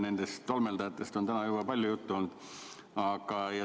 Nendest tolmeldajatest on täna juba palju juttu olnud.